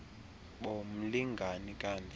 bo mlingane kamfi